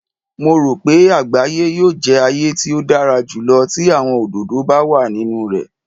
Mo ro pe agbaye yoo jẹ aaye ti o dara julọ ti awọn ododo ba wa ninu rẹ.